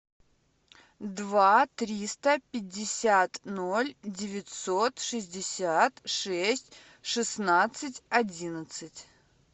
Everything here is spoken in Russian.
два триста пятьдесят ноль девятьсот шестьдесят шесть шестнадцать одиннадцать